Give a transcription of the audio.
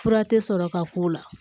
Fura tɛ sɔrɔ ka k'o la